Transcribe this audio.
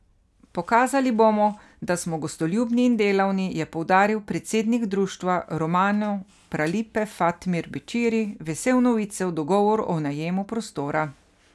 Pokazali bomo, da smo gostoljubni in delavni, je poudaril predsednik društva Romano Pralipe Fatmir Bećiri, vesel novice o dogovoru o najemu prostora.